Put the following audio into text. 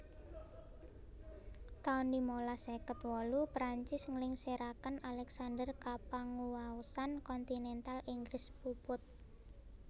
taun limalas seket wolu Perancis nglingsiraken Alexander kapanguwaosan kontinental Inggris puput